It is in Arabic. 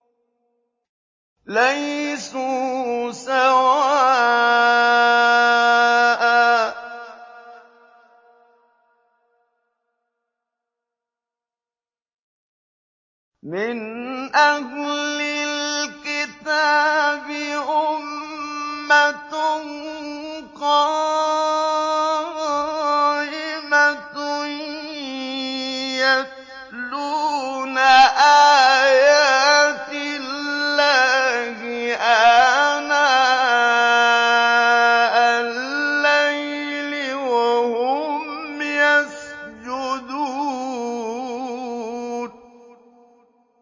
۞ لَيْسُوا سَوَاءً ۗ مِّنْ أَهْلِ الْكِتَابِ أُمَّةٌ قَائِمَةٌ يَتْلُونَ آيَاتِ اللَّهِ آنَاءَ اللَّيْلِ وَهُمْ يَسْجُدُونَ